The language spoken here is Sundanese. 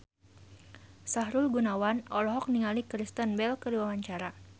Sahrul Gunawan olohok ningali Kristen Bell keur diwawancara